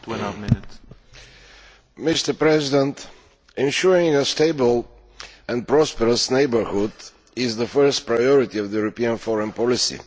Mr President, ensuring a stable and prosperous neighbourhood is the first priority of European foreign policy.